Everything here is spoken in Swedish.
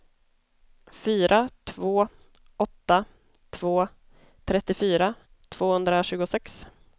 fyra två åtta två trettiofyra tvåhundratjugosex